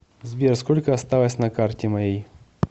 сбер сколько осталось на карте моей